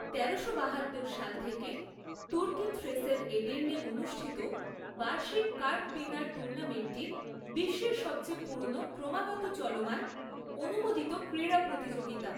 তেরোশো বাহাত্তর সাল থেকে তুর্কি থ্রেসের এডির্নে অনুষ্ঠিত বার্ষিক কার্কপিনার টুর্নামেন্টটি বিশ্বের সবচেয়ে পুরনো ক্রমাগত চলমান, অনুমোদিত ক্রীড়া প্রতিযোগিতা।